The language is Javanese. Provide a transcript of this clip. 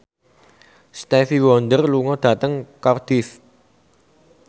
Stevie Wonder lunga dhateng Cardiff